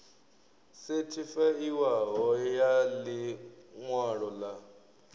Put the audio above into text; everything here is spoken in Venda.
sethifaiwaho ya ḽi ṅwalo ḽa